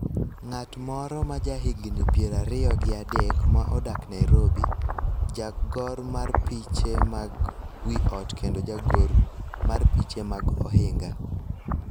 ng�at moro ma ja higni piero ariyo gi adek ma odak Nairobi, jagor mar piche mag wi ot kendo jagor mar piche mag ohinga.